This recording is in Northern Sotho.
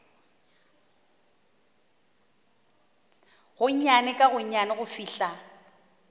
gonnyane ka gonnyane go fihla